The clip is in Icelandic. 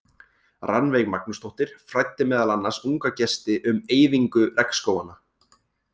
Rannveig Magnúsdóttir fræddi meðal annars unga gesti um eyðingu regnskóganna.